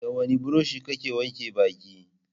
Da wani buroshi kake wanke baki?